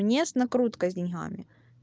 не с накруткой с деньгами